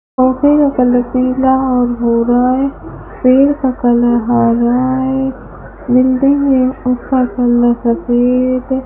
Office का colour पीला और गोरा है पेड़ का कलर हरा है बिल्डिंग के ऊपर कलर सफेद है।